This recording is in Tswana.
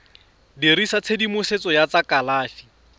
dirisa tshedimosetso ya tsa kalafi